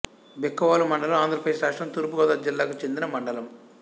బిక్కవోలు మండలం ఆంధ్రప్రదేశ్ రాష్ట్రం తూర్పు గోదావరి జిల్లాకు చెందిన మండలం